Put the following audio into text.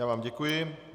Já vám děkuji.